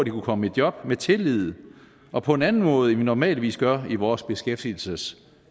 kunne komme i job med tillid og på en anden måde end vi normalvis gør i vores beskæftigelsessystem